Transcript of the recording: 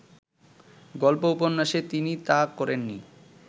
গল্প-উপন্যাসে তিনি তা করেননি